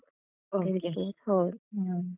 Okay ಹ.